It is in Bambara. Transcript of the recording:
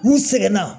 N'u sɛgɛnna